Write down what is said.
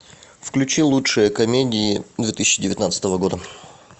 включи лучшие комедии две тысячи девятнадцатого года